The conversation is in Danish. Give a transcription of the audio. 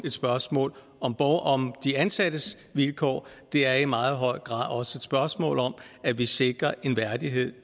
et spørgsmål om de ansattes vilkår det er i meget høj grad også et spørgsmål om at vi sikrer en værdighed